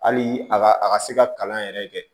Hali a ka a ka se ka kalan yɛrɛ kɛ